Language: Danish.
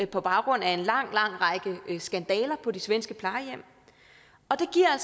på baggrund af en lang lang række skandaler på de svenske plejehjem og det giver